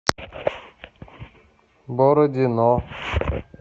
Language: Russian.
бородино